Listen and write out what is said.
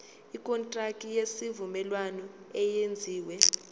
ikontraki yesivumelwano eyenziwe